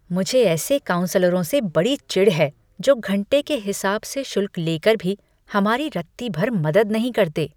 मुझे ऐसे काउंसलरों से बड़ी चिढ़ है जो घंटे के हिसाब से शुल्क लेकर भी हमारी रत्ती भर मदद नहीं करते।